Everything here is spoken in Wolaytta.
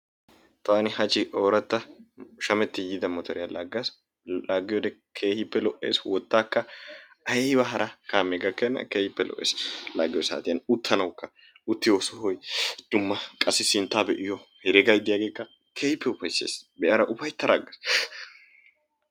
Taani hachchi oorata shammetti yiida motoriya laaggas. laaggiyoode keehippe lo''ees. wottaakka aybba hara kaamee gakkena keehippe lo''ees. laggiyo saatiyan uttanawukka uttiyo sohoy dumma qassi sinttaa be'iyo heregay de'iyageekka keehippe upaysses. be'ada ufayttada aggaas.